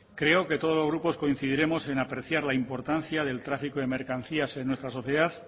creo que todos los grupos coincidiremos en apreciar la importancia del tráfico de mercancías en nuestra sociedad